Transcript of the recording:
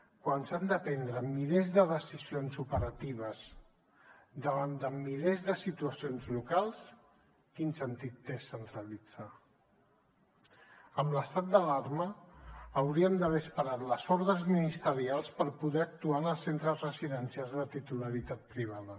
quan s’han de prendre milers de decisions operatives davant de milers de situacions locals quin sentit té centralitzar amb l’estat d’alarma hauríem d’haver esperat les ordres ministerials per poder actuar en els centres residencials de titularitat privada